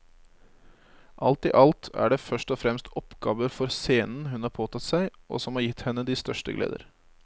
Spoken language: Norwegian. Alt i alt er det først og fremst oppgaver for scenen hun har påtatt seg og som har gitt henne de største gleder.